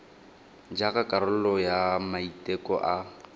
jaaka karolo ya maiteko a